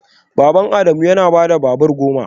Baban Adamu yana da babura goma